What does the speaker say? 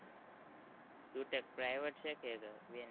private છે કે nsu છે